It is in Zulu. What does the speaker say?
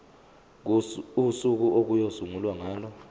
usuku okuyosungulwa ngalo